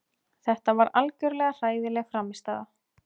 Þetta var algjörlega hræðileg frammistaða.